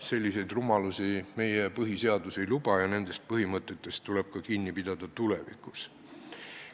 Selliseid rumalusi meie põhiseadus ei luba ja nendest põhimõtetest tuleb kinni pidada ka tulevikus.